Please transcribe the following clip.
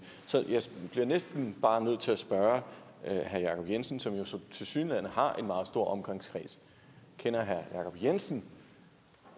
det er næsten bare nødt til at spørge herre jacob jensen som tilsyneladende har en meget stor omgangskreds kender herre jacob jensen